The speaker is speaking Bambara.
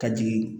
Ka jigin